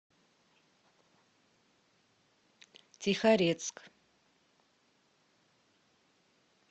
тихорецк